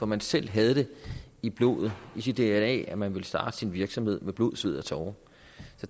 man selv havde det i blodet i sit dna at man ville starte sin egen virksomhed med blod sved og tårer